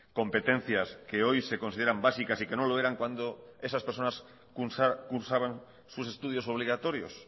competencias que hoy se consideran básicas y que no lo eran cuando esas personas cursaban sus estudios obligatorios